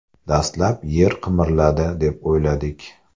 Dastlab yer qimirladi deb o‘yladik.